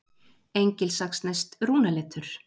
Engilsaxneskt rúnaletur.